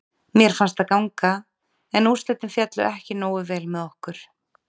Mér fannst það ganga en úrslitin féllu ekki nógu vel með okkur.